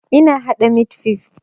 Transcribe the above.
Ina haɗa mit fif